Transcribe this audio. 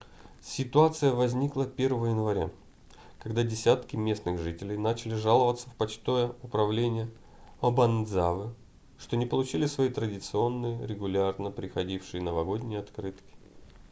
ситуация возникла 1 января когда десятки местных жителей начали жаловаться в почтовое управление обанадзавы что не получили свои традиционные регулярно приходившие новогодние открытки